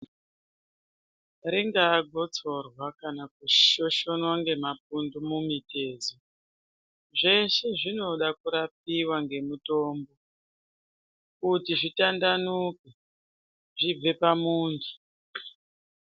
Ringaa gotsorwa kana kushoshonwa ngemapundu mumitezo zveshe zvinoda kurapiwa ngemitombo kuti zvitandanuke zvibve pamuntu.